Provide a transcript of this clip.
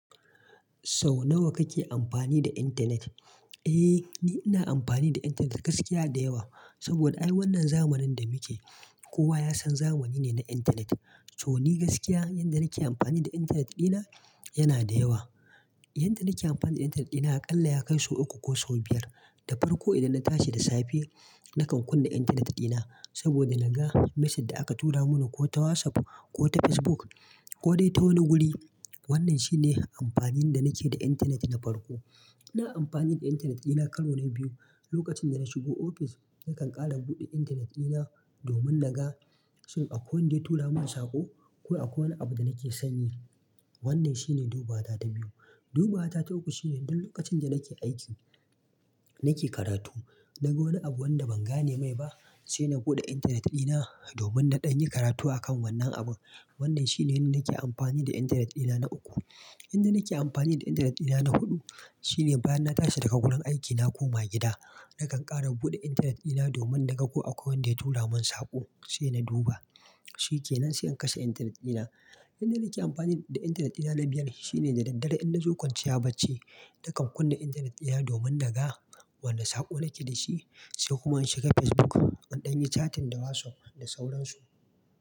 Sau nawa kake amfani da intanet? Eh, ni ina amfani da intanet gaskiya da yawa. Saboda, a wannan zamanin da muke, kowa ya san zamani ne na intanet. To, ni gaskiya, yadda nake amfani da intanet ɗina yana da yawa. Yanda nake amfani da intanet dina, a ƙalla ya kai sau uku ko sau biyar. Da farko, idan na tashi da safe, nakan kunna intanet dina saboda naga message da aka tura mun ko ta WhatsApp ko ta Facebook ko dai ta wani guri. Wannan shine amfanin da nake da intanet na farko. Ina amfani da intanet ɗina karo na biyu, lokacin da na shigo ofis nakan ƙara buɗe intanet ɗina domin naga shin akwai wanda ya tura mun saƙo ko akwai wani abu da nake sanyi. Wannan shine dubata ta biyu. Duba wata ta uku shine duk lokacin da nake aiki nake karatu, naga wani abu wanda ban gane mai ba, sai na buɗe intanet dina domin naɗan yi karatu akan wannan abu. Wannan shi ne yadda nake amfani da intanet ɗina na uku. Yanda nake amfani da intanet ɗina na huɗu, shine bayan na tashi daga wurin aiki na koma gida, na ƙara buɗe intanet ɗina domin na ga ko akwai wanda ya tura mu saƙo sai na duba. Shi ke nan sai in kashe intanet ɗina. Yanda nake amfani da intanet ɗina na biyar shine da daddare idan na zo kwanciya bacci, nakan kunna intanet dina domin naga wani saƙo nake da shi sai kuma in shiga Facebook, naɗan yi chatting da WhatsApp da sauransu.